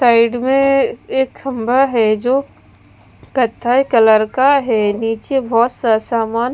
side में एक खंभा है जो कत्थई कलर का है नीचे बहोत सा सामान--